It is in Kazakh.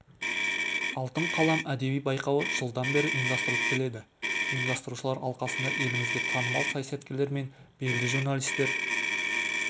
алтын қалам әдеби байқауы жылдан бері ұйымдастырылып келеді ұйымдастырушылар алқасында елімізге танымал саясаткерлер мен белді журналистер